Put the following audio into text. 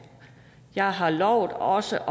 jeg har lovet også